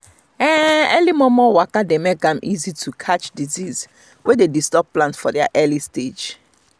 early momo waka dey make am easy to catch disease wey dey disturb plant for their early stages